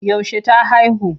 Yaushe ta haihu?